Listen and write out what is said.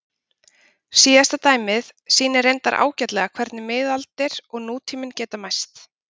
Síðasta dæmið sýnir reyndar ágætlega hvernig miðaldir og nútíminn geta mæst.